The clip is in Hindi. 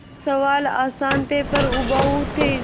सवाल आसान थे पर उबाऊ थे